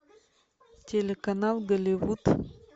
телеканал голливуд